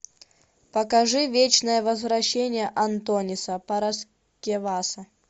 покажи вечное возвращение антониса параскеваса